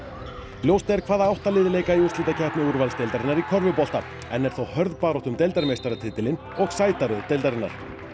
ljóst er hvaða átta lið leika í úrslitakeppni úrvalsdeildarinnar í körfubolta enn er þó hörð barátta um deildarmeistaratitilinn og sætaröð deildarinnar